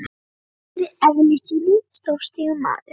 Hann var í eðli sínu stórstígur maður.